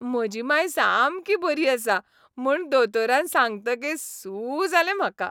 म्हजी मांय सामकी बरी आसा म्हूण दोतोरान सांगतकीच सू जालें आमकां.